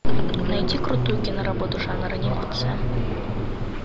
найди крутую киноработу жанр анимация